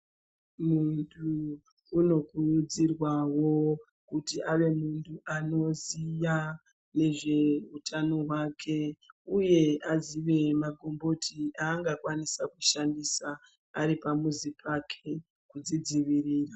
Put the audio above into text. Muntu unokurudzirwawo kuti ave anoziya nezveutano hwake uye azive magomboti aangakwanisa kushandisa ari pamuzi pake kudzidziirira .